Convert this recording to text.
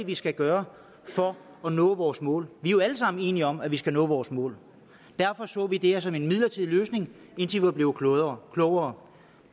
vi skal gøre for at nå vores mål vi er jo alle sammen enige om at vi skal nå vores mål derfor så vi det her som en midlertidig løsning indtil vi var blevet klogere klogere